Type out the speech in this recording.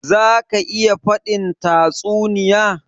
Za ka iya faɗin tatsuniya?